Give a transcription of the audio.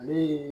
Ale ye